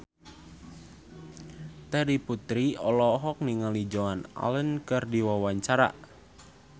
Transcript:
Terry Putri olohok ningali Joan Allen keur diwawancara